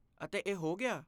ਅਤੇ ਇਹ ਹੋ ਗਿਆ ?